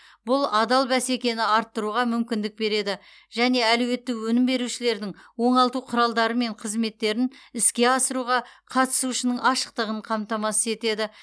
бұл адал бәсекені арттыруға мүмкіндік береді және әлеуетті өнім берушілердің оңалту құралдары мен қызметтерін іске асыруға қатысуының ашықтығын қамтамасыз етеді